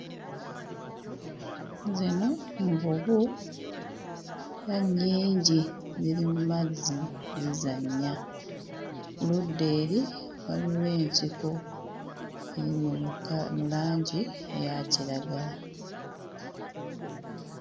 Zino nvubu la nnyingi ziri mu mazzi zizannya ludda eri waliwo ensiko eri mu kka mu langi eya kiragala.